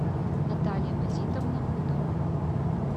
наталья мазитовна хутова